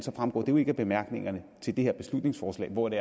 fremgår det jo ikke af bemærkningerne til det her beslutningsforslag hvor det